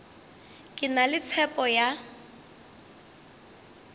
ke na le tshepo ya